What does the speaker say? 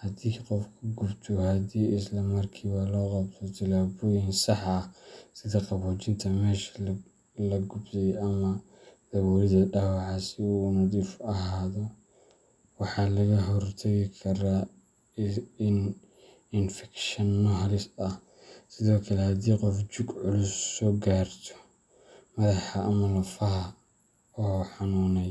haddii qof ku gubto, haddii isla markiiba loo qabto tallaabooyin sax ah sida qaboojinta meesha la gubtay ama daboolidda dhaawaca si uu u nadiif ahaado, waxaa laga hortagi karaa infekshanno halis ah. Sidoo kale, haddii qof jug culus ka soo gaarto madaxa ama lafaha, oo xanunay.